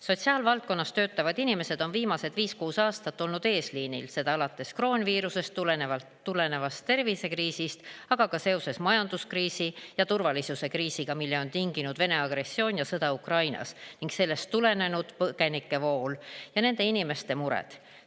Sotsiaalvaldkonnas töötavad inimesed on viimased viis-kuus aastat olnud eesliinil, alates kroonviiruse põhjustatud tervisekriisist, aga ka seoses majanduskriisi ja turvalisuse kriisiga, mille on tinginud Vene agressioon ja sõda Ukrainas ning sellest tulenenud põgenikevool ja nende inimeste mured.